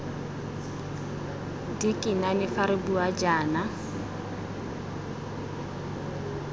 dikinane fa re bua jaana